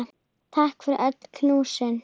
Takk fyrir öll knúsin.